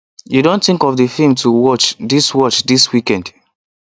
you don think of the film to watch this watch this weekend